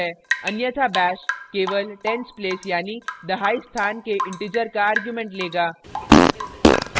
अन्यथा bash केवल ten s place यानी दहाई स्थान के integer का argument लेगा